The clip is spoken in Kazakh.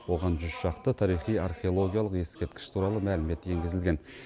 оған жүз шақты тарихи археологиялық ескерткіш туралы мәлімет енгізілген